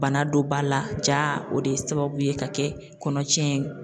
Bana don ba la, ja o de ye sababu ye ka kɛ kɔnɔ tiɲɛn ye.